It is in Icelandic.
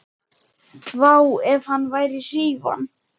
Vá, ef hann væri hrífan!